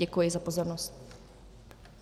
Děkuji za pozornost.